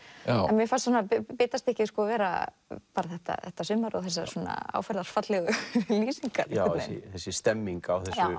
en mér fannst bitastykkið vera þetta þetta sumar og þessar áferðarfallegu lýsingar þessi stemning